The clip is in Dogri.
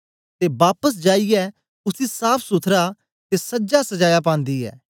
ते बापस जाईयै उसी साफ़सुथरा ते सजासजाया पांदी ऐ